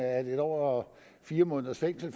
at en år og fire måneders fængsel